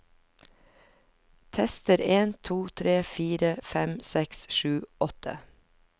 Tester en to tre fire fem seks sju åtte